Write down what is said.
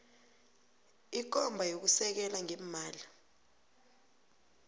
ikomba yokusekela ngeemali